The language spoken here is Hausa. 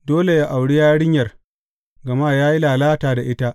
Dole yă auri yarinyar, gama ya yi lalata da ita.